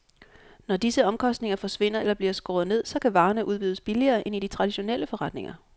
Når disse omkostninger forsvinder eller bliver skåret ned, så kan varerne udbydes billigere end i de traditionelle forretninger.